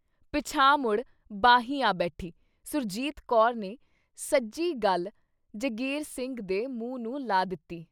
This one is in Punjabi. ਪਿਛਾਂਹ ਮੁੜ ਬਾਹੀ ਆ ਬੈਠੀ ਸੁਰਜੀਤ ਕੌਰ ਨੇ ਸੱਜੀ ਗੱਲ ਜਗੀਰ ਸਿੰਘ ਦੇ ਮੂੰਹ ਨੂੰ ਲਾ ਦਿੱਤੀ।